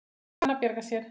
Og kann að bjarga sér.